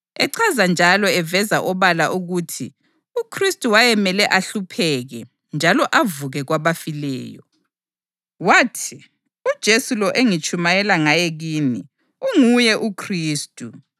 echaza njalo eveza obala ukuthi uKhristu wayemele ahlupheke njalo avuke kwabafileyo. Wathi, “UJesu lo engitshumayela ngaye kini unguye uKhristu.”